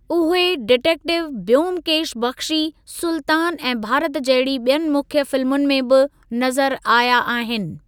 उहे डिटेक्टिव ब्योमकेश बख्शी, सुल्तान ऐं भारत जहिड़ी बि॒यनि मुख्य फिल्मुनि में बि नज़रु आया आहिनि।